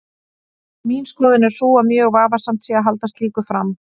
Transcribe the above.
Mín skoðun er sú að mjög vafasamt sé að halda slíku fram.